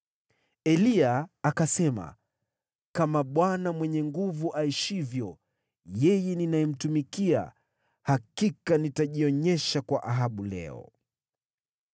Eliya akasema, “Kama Bwana Mwenye Nguvu Zote aishivyo, yeye ninayemtumikia, hakika nitajionyesha kwa Ahabu leo.”